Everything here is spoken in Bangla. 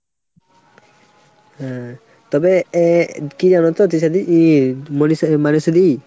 হম তবে এ কী জানোতো Jesa দি ই Monisha Manashi দি ?